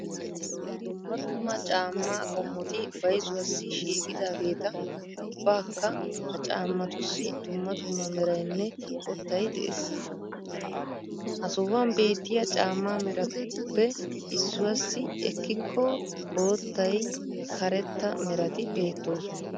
Dumma dumma caamma qommoti bayzuwassi shiqidageeta ubbakka ha caammatussi dumma dumma meraynne qottay de'ees. Ha sohuwaan beettiya caamma meratuppe, leemisuwassi ekkikko, boottay, karetta merati bettosona.